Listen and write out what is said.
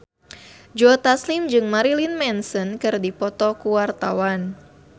Joe Taslim jeung Marilyn Manson keur dipoto ku wartawan